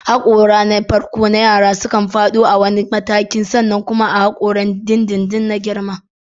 Haƙoran farko na yara sukan faɗo a wani mataki sannan kuma haƙoran dindindin su girma.